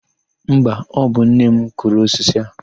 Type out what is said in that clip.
Mba, ọ bụ nne m kụrụ osisi a.